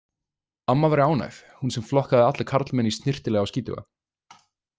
Amma væri ánægð, hún sem flokkaði alla karlmenn í snyrtilega og skítuga.